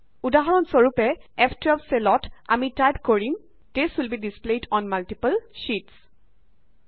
উদাহৰণ স্বৰূপে ফ12 চেলত আমি টাইপ কৰিম this will be displayed on multiple sheets